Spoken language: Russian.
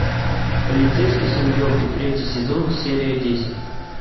полицейский с рублевки третий сезон серия десять